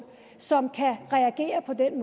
som kan reagere på den